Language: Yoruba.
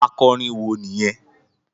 Akọrin wo nìyẹn?